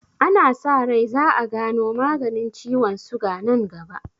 Ana sa rai za'a gano maganin ciwon suga nan gaba.